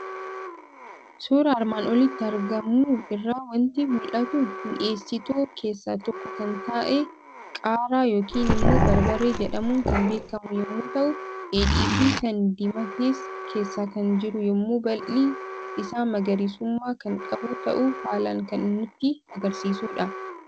Suuraa armaan olitti argamu irraa waanti mul'atu; mi'essitoota keessaa tokko kan ta'e qaaraa yookiin immoo barbaree jedhamuun kan beekamu yommuu ta'u, dheedhiifi kan diimates keessa kan jiru yommuu baalli isaa magariisummaa kan qabu ta'uu haalan kan nutti agarsiisudha.